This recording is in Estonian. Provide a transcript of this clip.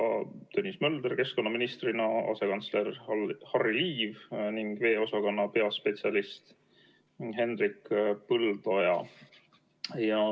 Komisjonis olid kohal keskkonnaminister Tõnis Mölder, asekantsler Harry Liiv ning veeosakonna peaspetsialist Hendrik Põldoja.